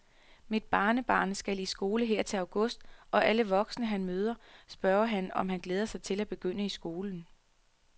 Mit barnebarn skal i skole her til august, og alle voksne, han møder, spørger ham, om han glæder sig til at begynde i skolen.